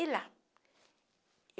E lá.